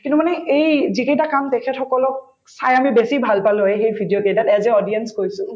কিন্তু মানে এই যিকেইটা কাম তেখেতসকলক চাই আমি বেছি ভাল পালো হৈ সেই video কেইটাত as a audience কৈছো